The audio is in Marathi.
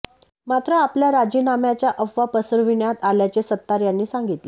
मात्र आपल्या राजीनाम्याच्या अफवा पसरविण्यात आल्याचे सत्तार यांनी सांगितले